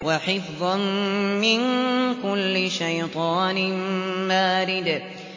وَحِفْظًا مِّن كُلِّ شَيْطَانٍ مَّارِدٍ